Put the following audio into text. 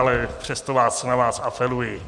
Ale přesto na vás apeluji.